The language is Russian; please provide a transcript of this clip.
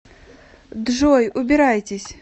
джой убирайтесь